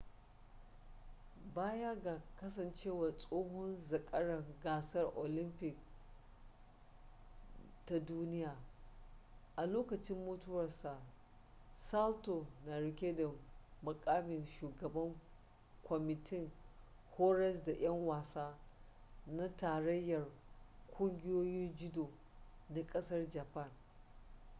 baya ga kasancewa tsohon zakaran gasar olamfik da ta duniya a lokacin mutuwarsa salto na rike da mukamin shugaban kwamitin horas da 'yan wasa na tarayyar ƙungiyoyin judo na kasar japan